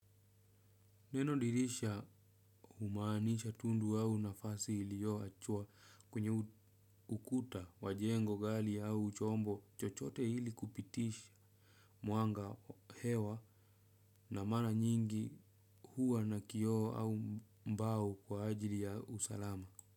Neno dirisha humaanisha tundu au nafasi ilio achwa kwenye ukuta wa jengo gali au chombo chochote ili kupitisha mwanga hewa na mara nyingi huwa na kioo au mbao kwa ajili ya usalama.